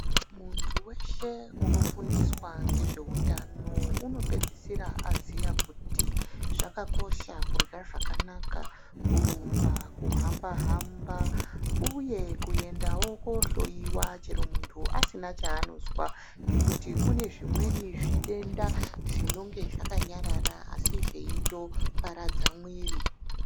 Muntu weshe kunofundiswa ngezveutano, unopedzisira aziya kuti, zvakakosha kurya zvakanaka ,kurumba , kuhamba-hamba, uye kuendawo koohloiwa, chero muntu asina chaanozwa ngekuti ,kune zvimweni zvitenda zvinonge zvakayarara asi zveitoparadza mwiri.